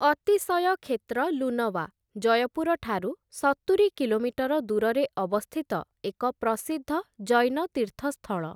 ଅତିଶୟ କ୍ଷେତ୍ର ଲୁନୱା, ଜୟପୁର ଠାରୁ ସତୁରି କିଲୋମିଟର ଦୂରରେ ଅବସ୍ଥିତ ଏକ ପ୍ରସିଦ୍ଧ ଜୈନ ତୀର୍ଥସ୍ଥଳ ।